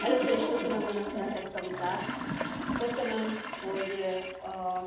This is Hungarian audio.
Először is köszönöm Önöknek ezt a vitát! Köszönöm, hogy a